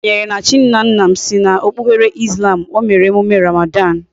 M kwenyere na chi nna nna m.siri na okpukpere Islam, o mere emume Ramadan